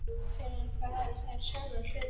Fyrr en varði urðu þær sjálfsagður hlutur.